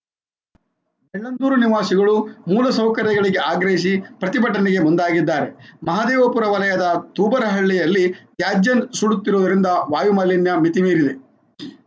ಬೆಳ್ಳಂದೂರು ನಿವಾಸಿಗಳು ಮೂಲ ಸೌಕರ್ಯಗಳಿಗೆ ಆಗ್ರಹಿಸಿ ಪ್ರತಿಭಟನೆಗೆ ಮುಂದಾಗಿದ್ದಾರೆ ಮಹದೇವಪುರ ವಲಯದ ತೂಬರಹಳ್ಳಿಯಲ್ಲಿ ತ್ಯಾಜ್ಯ ಸುಡುತ್ತಿರುವುದರಿಂದ ವಾಯು ಮಾಲಿನ್ಯ ಮಿತಿ ಮೀರಿದೆ